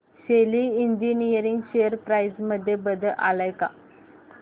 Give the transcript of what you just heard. शेली engineering share price मध्ये बदल आलाय का